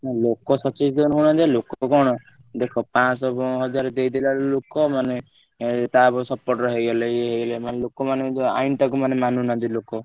ହଁ ଲୋକ ସଚେତନ ହଉ ନାହାନ୍ତି ବା ଲୋକ କଣ ଦେଖ ପାଂଶ ହଜାର ଦେଇଦେଲାବେଳକୁ ଲୋକ ମାନେ ଏଇ ତା ପଟ support ରେ ହେଇଗଲେ ଇଏ ହେଇଗଲେ ମାନେ ଲୋକ ମାନେ ଯୋଉ ଆଇନ ଟାକୁ ମାନେ ମାନୁନାହାନ୍ତି ଲୋକ।